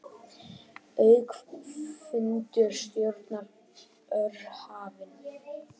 Aukafundur stjórnar OR hafinn